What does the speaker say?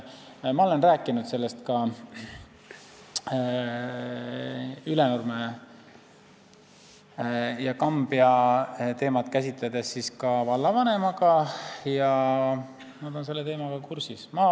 Ma olen rääkinud Ülenurme ja Kambja teemat käsitledes ka vallavanemaga ja nemad on selle teemaga kursis.